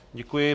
Děkuji.